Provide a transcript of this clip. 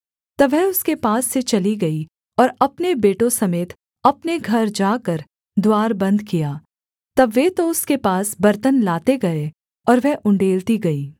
तब वह उसके पास से चली गई और अपने बेटों समेत अपने घर जाकर द्वार बन्द किया तब वे तो उसके पास बर्तन लाते गए और वह उण्डेलती गई